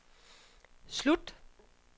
slut